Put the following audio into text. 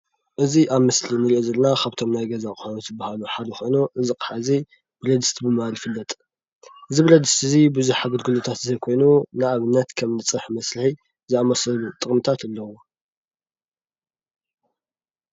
እዚ አብ ምስሊ እንሪኦ ዘለና ካብቶም ናይ ገዛ አቑሑ ዝበሃል ሓደ ኮይኑ፤ እዚ አቅሓ እዚ ብረድስቲ ብምባል ይፈለጥ፡፡ እዚ ብረድስቲ እዚ ብዙሕ አገልግሎታት ዝህብ ኮይኑ፤ ንአብነት፡- ከም ፀብሒ መስርሒ ዝአመሰሉ ጥቅሚታት አለውዎ፡፡